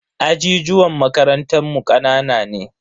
Ajijuwan makarantan mu kanana ne.